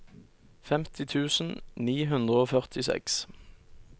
femti tusen ni hundre og førtiseks